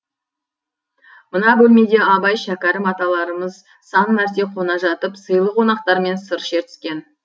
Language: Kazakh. мына бөлмеде абай шәкәрім аталарымыз сан мәрте қона жатып сыйлы қонақтармен сыр шертіскен